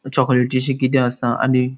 चोकलेटीशी किदे आसा आणि --